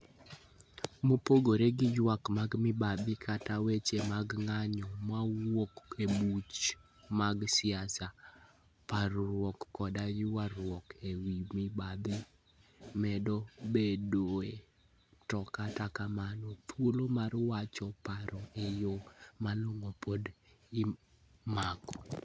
Mopogore gi ywak mag mibadhi kata weche mag ng'anjo mawuok e buche mag siasa, parruok koda ywaruok e wi mibadhi medo bedoe, to kata kamano, thuolo mar wacho paro e yo malong'o pod imako.